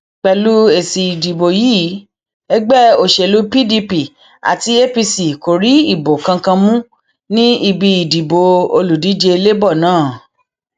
pẹlú èsì ìdìbò yìí ẹgbẹ òsèlú pdp àti apc kò rí ìbò kankan mú ní ibi ìdìbò olùdíje labour náà